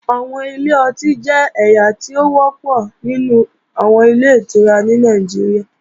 Àwọn ilé ọtí jẹ́ ẹ̀yà tó wọ́pọ̀ nínú àwọn Ilé-ìtura ní Nàìjíríà